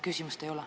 Küsimust ei ole.